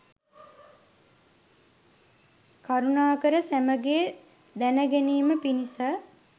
කරුණාකර සැමගේ දැනගැනීම පිණිස